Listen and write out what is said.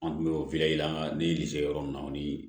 An tun bɛ yɔrɔ min na o ni